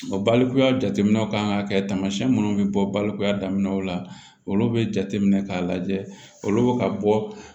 balikuya jateminɛw kan ka kɛ tamasiyɛn minnu bɛ bɔ balokuya daminɛ o la olu bɛ jateminɛ k'a lajɛ olu bɛ ka bɔ